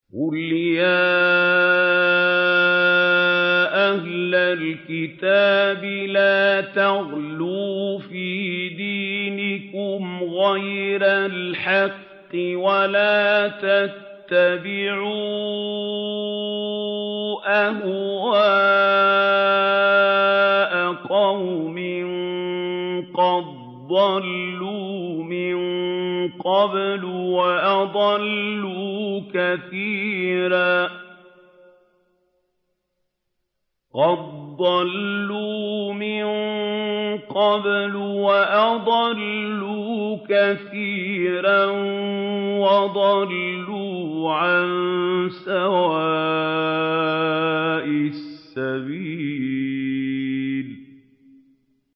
قُلْ يَا أَهْلَ الْكِتَابِ لَا تَغْلُوا فِي دِينِكُمْ غَيْرَ الْحَقِّ وَلَا تَتَّبِعُوا أَهْوَاءَ قَوْمٍ قَدْ ضَلُّوا مِن قَبْلُ وَأَضَلُّوا كَثِيرًا وَضَلُّوا عَن سَوَاءِ السَّبِيلِ